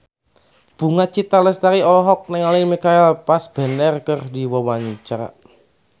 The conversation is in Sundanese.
Bunga Citra Lestari olohok ningali Michael Fassbender keur diwawancara